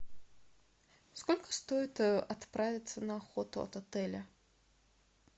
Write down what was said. сколько стоит отправиться на охоту от отеля